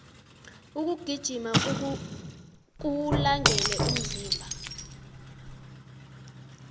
ukugijima kuwulangele umzimba